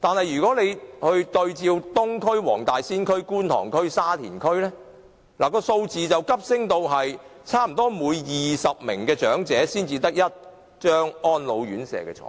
如果對照東區、黃大仙區、觀塘區、沙田區，數字便會急升至差不多每20名長者才有1張安老院舍床位。